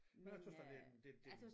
Men jeg tøs da det en det det en